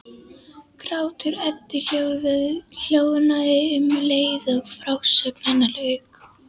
Grátur Eddu hljóðnaði um leið og frásögn hennar lauk.